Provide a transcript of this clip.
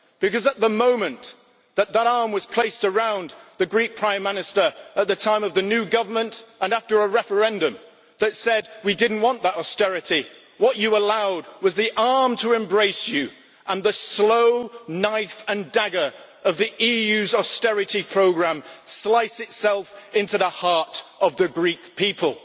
Because at the moment when that arm was placed around the Greek Prime Minister at the time of the new government and after a referendum that said we did not want that austerity, what you allowed was the arm to embrace you and the slow knife and dagger of the EU's austerity programme slice itself into the heart of the Greek people.